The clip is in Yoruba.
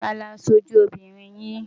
Ta ni aṣojú lóbìnrin yín?